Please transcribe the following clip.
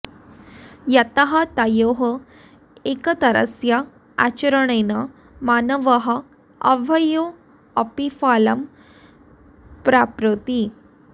यतः तयोः एकतरस्य आचरणेन मानवः उभयोः अपि फलं प्राप्नोति